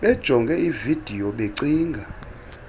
bajonge ividiyo becinga